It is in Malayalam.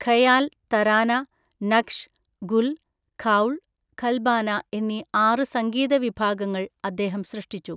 ഖയാൽ, തരാന, നഖ്ഷ്, ഗുൽ, ഖൗൾ, ഖൽബാന എന്നീ ആറ് സംഗീത വിഭാഗങ്ങൾ അദ്ദേഹം സൃഷ്ടിച്ചു.